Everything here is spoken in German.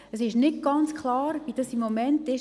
Es ist nicht ganz klar, wie das im Moment ist.